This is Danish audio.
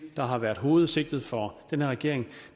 der har været hovedsigtet for den her regering